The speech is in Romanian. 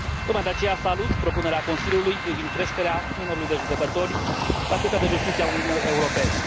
Tocmai de aceea, salut propunerea Consiliului privind creșterea numărului de judecători la Curtea de Justiție a Uniunii Europene.